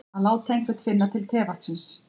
Að láta einhvern finna til tevatnsins